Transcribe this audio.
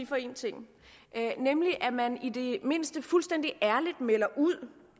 for en ting nemlig at man i det mindste fuldstændig ærligt melder ud